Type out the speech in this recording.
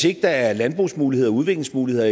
ikke er landbrugsmuligheder og udviklingsmuligheder